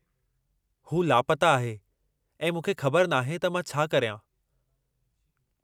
हू लापता आहे ऐं मूंखे ख़बर नाहे त मां छा करियां।